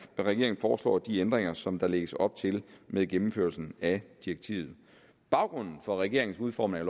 foreslår de ændringer som der lægges op til med gennemførelsen af direktivet baggrunden for regeringens udformning af